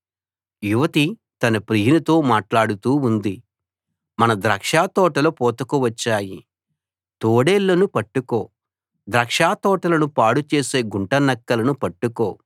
యువతి తన ప్రియునితో మాట్లాడుతూ ఉంది మన ద్రాక్షతోటలు పూతకు వచ్చాయి తోడేళ్ళను పట్టుకో ద్రాక్షతోటలను పాడుచేసే గుంట నక్కలను పట్టుకో